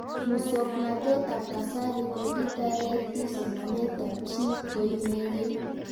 Muswognatet ab kasari ko kitareti somanet ab chii koinegei